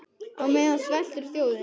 Á meðan sveltur þjóðin.